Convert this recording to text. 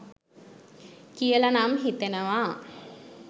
කියලනම් හිතෙනවා